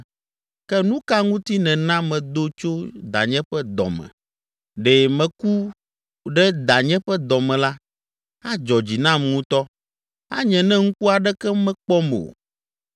“ ‘Ke nu ka ŋuti nèna medo tso danye ƒe dɔ me? Ɖe meku ɖe danye ƒe dɔ me la, adzɔ dzi nam ŋutɔ, anye ne ŋku aɖeke mekpɔm o.